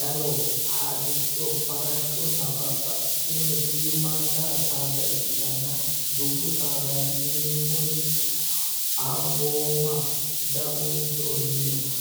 laloho, harricho, farashshonna babbaxxitinore shiimmadda saadda ikkitanna dubbu saadaati yineemmoti ambooma, daguncho yineemmori